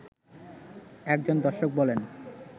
একজন দর্শক বলেন